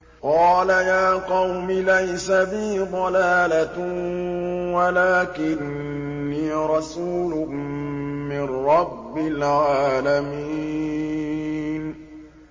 قَالَ يَا قَوْمِ لَيْسَ بِي ضَلَالَةٌ وَلَٰكِنِّي رَسُولٌ مِّن رَّبِّ الْعَالَمِينَ